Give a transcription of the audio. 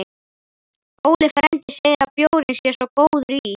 Óli frændi segir að bjórinn sé svo góður í